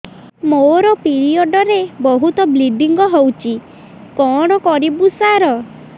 ମୋର ପିରିଅଡ଼ ରେ ବହୁତ ବ୍ଲିଡ଼ିଙ୍ଗ ହଉଚି କଣ କରିବୁ ସାର